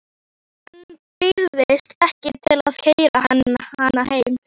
Hann býðst ekki til að keyra hana heim.